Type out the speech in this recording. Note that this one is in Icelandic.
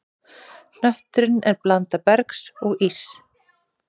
Hnötturinn er blanda bergs og íss.